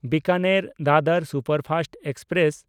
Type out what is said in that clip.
ᱵᱤᱠᱟᱱᱮᱨ–ᱫᱟᱫᱚᱨ superfast express